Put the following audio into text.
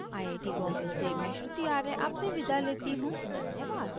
iit iit T Bombay से मैं श्रुति आर्य आपसे विदा लेती हूँ धन्यवाद